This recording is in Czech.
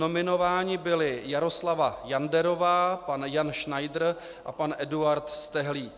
Nominován byli: Jaroslava Janderová, pan Jan Schneider a pan Eduard Stehlík.